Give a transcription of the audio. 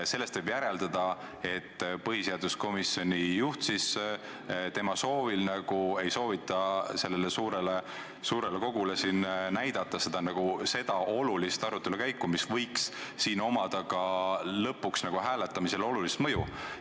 Sellest võib järeldada, et põhiseaduskomisjoni juhi soovil ei soovita siinsele suurele kogule näidata komisjonis peetud arutelu käiku, mis võiks lõpuks hääletamisele olulist mõju avaldada.